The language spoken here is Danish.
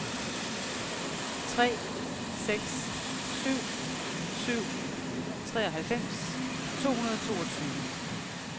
tre seks syv syv treoghalvfems to hundrede og toogtyve